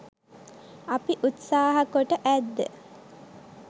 අපි උත්සහා කොට ඇද්ද?